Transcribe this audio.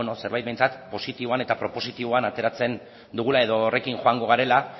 zerbait behintzat positiboan eta propositiboan ateratzen dugula edo horrekin joango garela